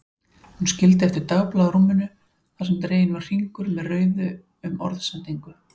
Hún skildi eftir dagblað á rúminu þar sem dreginn var hringur með rauðu um orðsendingu